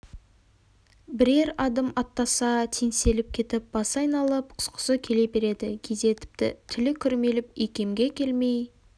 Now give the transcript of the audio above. бірер адым аттаса теңселіп кетіп басы айналып құсқысы келе береді кейде тіпті тілі күрмеліп икемге келмей